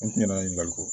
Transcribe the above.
N kun ɲɛna ko